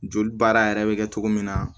Joli baara yɛrɛ bɛ kɛ cogo min na